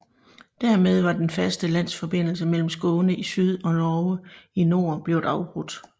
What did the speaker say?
Dermed var den faste landforbindelse mellem Skåne i syd og Norge i nord blevet afbrudt